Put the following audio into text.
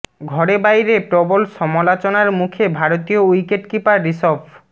ঘরে বাইরে প্রবল সমালোচনার মুখে ভারতীয় উইকেট কিপার ঋষভ